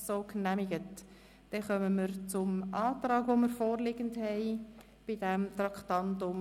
Wir kommen zum Antrag der FDP-Fraktion zu diesem Traktandum.